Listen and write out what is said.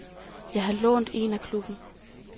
Jeg har lånt en af klubben.